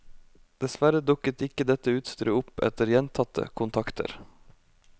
Dessverre dukket ikke dette utstyret opp etter gjentatte kontakter.